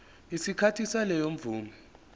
isikhathi saleyo mvume